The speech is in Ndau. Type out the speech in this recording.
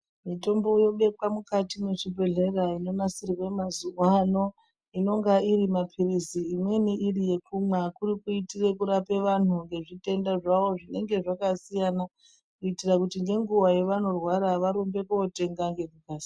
Mitombo yobekwa mukati mwezvibhedhleya inonasirwe mazuwano inonga irimapirizi imweni iri yekumwa kurikuitire kurape vantu ngezvitenda zvavo zvinenge zvakasiyana kuitira kuti ngenguwa yavanorwara varumbe kotenga ngekukasira.